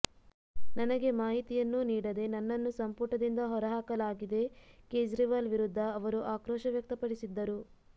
ನನಗೆ ಮಾಹಿತಿಯನ್ನೂ ನೀಡದೆ ನನ್ನನ್ನು ಸಂಪುಟದಿಂದ ಹೊರಹಾಕಲಾಗಿದೆ ಕೇಜ್ರಿವಾಲ್ ವಿರುದ್ಧ ಅವರು ಆಕ್ರೋಶ ವ್ಯಕ್ತಪಡಿಸಿದ್ದರು